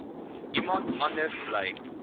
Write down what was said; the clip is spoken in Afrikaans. iemand anders bly